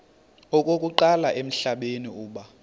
okokuqala emhlabeni uba